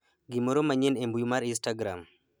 gimoro manyien e mbui mar instagram